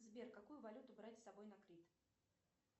сбер какую валюту брать с собой на крит